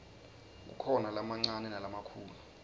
kukhona lamancane nalamakhulu